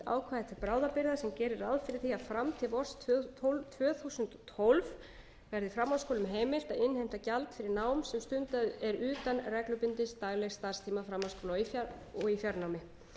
til bráðabirgða sem gerir ráð fyrir því að fram til vors tvö þúsund og tólf verði framhaldsskólum heimilt að innheimta gjald fyrir nám sem stundað er utan reglubundins daglegs starfstíma framhaldsskóla og í fjarnámi